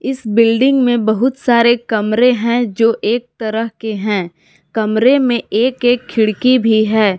इस बिल्डिंग में बहुत सारे कमरे हैं जो एक तरह के हैं कमरे में एक एक खिड़की भी है।